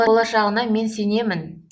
болашағына мен сенемін